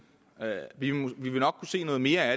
vi vil nok kunne se noget mere